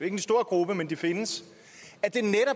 en stor gruppe men de findes